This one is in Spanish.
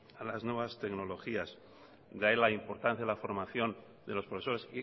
a las nuevas tecnologías y de ahí la importancia de la formación de los profesores